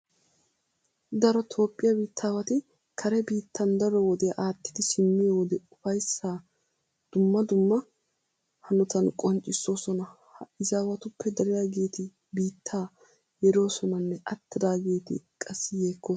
Daro toophphiya biittaawati kare biittan daro wodiya aattidi simmiyo wode ufayssaa dumma dumma hanotan qonccissoosona. Ha izaawatuppe dariyageeti biittaa yeroosonanne attidaageeti qassi yeekkoosona.